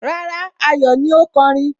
Rárá, Ayọ̀ ni ó kọrin